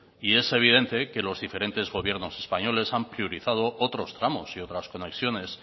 y es evidente que los diferente gobiernos españoles han priorizado otros tramos y otras conexiones